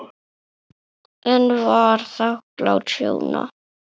En var þakklát Sjóna.